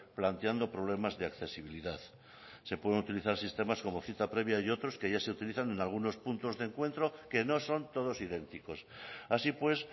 planteando problemas de accesibilidad se pueden utilizar sistemas como cita previa y otros que ya se utilizan en algunos puntos de encuentro que no son todos idénticos así pues